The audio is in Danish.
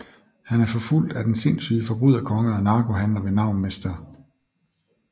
Han er forfulgt af den sindsyge forbryderkonge og narkohandler ved navn Mr